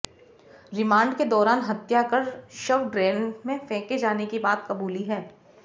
remand के दौरान हत्या कर शव ड्रेन में फेंके जाने की बात कबूली है